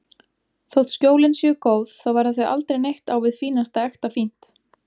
Þótt Skjólin séu góð, þá verða þau aldrei neitt á við fínasta ekta fínt.